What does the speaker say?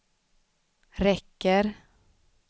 räcker